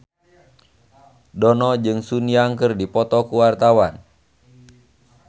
Dono jeung Sun Yang keur dipoto ku wartawan